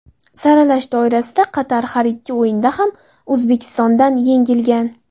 Saralash doirasida Qatar har ikki o‘yinda ham O‘zbekistondan yengilgan.